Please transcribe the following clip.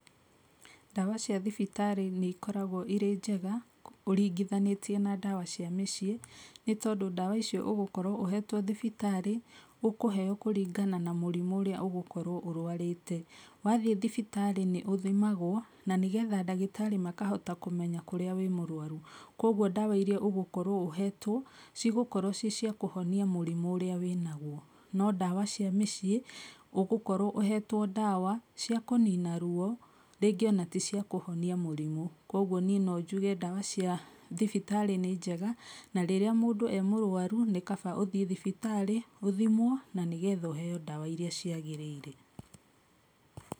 Ndawa cia thibitarĩ nĩ ikoragwo irĩ njega, ũringithanĩtie na ndawa cia mĩciĩ, nĩ tondũ ndawa icio ũgũkorwo ũhetwo thibitarĩ, ũkũheyo kũringana na mũrimũ ũrĩa ũgũkorwo ũrũarĩte, wathiĩ thibitarĩ nĩ ũthimagwo, na nĩgetha ndagĩtarĩ makahota kũmenya kũrĩa wĩ mũrwaru, koguo ndawa iria ũgũkorwo ũhetwo, cigũkorwo cicia kũhonia mũrimũ ũrĩa wĩnagwo, no ndawa cia mĩciĩ ũgũkorwo ũhetwo ndawa cia kũnina ruwo rĩngĩ ona ticia kũhonia mũrimũ, koguo niĩ nonjuge ndawa cia thibitarĩ nĩ njega, na rĩrĩa mũndũ emũrwaru nĩ kaba ũthiĩ thibitarĩ, ũthimwo na nĩgetha ũheyo ndawa iria ciagĩrĩire.